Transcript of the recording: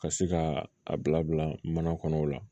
Ka se ka a bila bila mana kɔnɔ o la